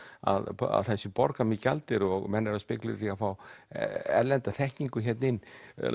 að það sé borgað með gjaldeyri og menn eru að spekúlera í því að fá erlenda þekkingu hérna inn